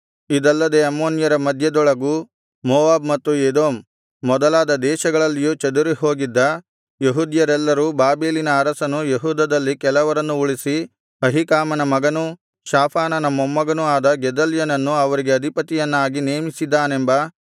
ಇದಲ್ಲದೆ ಅಮ್ಮೋನ್ಯರ ಮಧ್ಯದೊಳಗೂ ಮೋವಾಬ್ ಮತ್ತು ಎದೋಮ್ ಮೊದಲಾದ ದೇಶಗಳಲ್ಲಿಯೂ ಚದುರಿ ಹೋಗಿದ್ದ ಯೆಹೂದ್ಯರೆಲ್ಲರೂ ಬಾಬೆಲಿನ ಅರಸನು ಯೆಹೂದದಲ್ಲಿ ಕೆಲವರನ್ನು ಉಳಿಸಿ ಅಹೀಕಾಮನ ಮಗನೂ ಶಾಫಾನನ ಮೊಮ್ಮಗನೂ ಆದ ಗೆದಲ್ಯನನ್ನು ಅವರಿಗೆ ಅಧಿಪತಿಯನ್ನಾಗಿ ನೇಮಿಸಿದ್ದಾನೆಂಬ